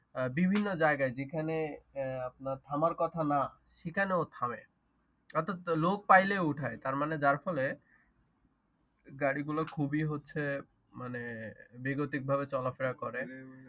বিভিন্ন জায়গায় যেখানে আপনার থামার কথা না সেখানেও থামে অর্থাৎ লোক পাইলেই উঠাই তার মানে যার ফলে গাড়িগুলো খুবই হচ্ছে মানে বেগতিক ভাবে চলাফেরা করে।